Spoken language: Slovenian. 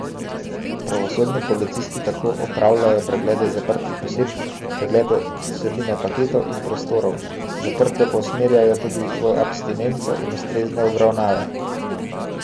Pravosodni policisti tako opravljajo preglede zaprtih oseb, preglede vsebine paketov in prostorov, zaprte pa usmerjajo tudi v abstinenco in ustrezne obravnave.